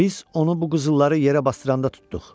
Biz onu bu qızılları yerə basdıranda tutduq.